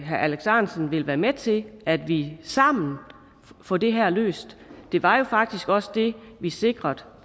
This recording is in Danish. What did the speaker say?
herre alex ahrendtsen vil være med til at vi sammen får det her løst det var jo faktisk også det vi sikrede